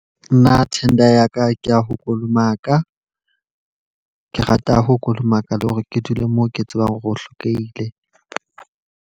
Nna tender ya ka ke ya ho Kolomaka. Ke rata ho kolomaka le hore ke dule mo ke tsebang hore o hlekehile.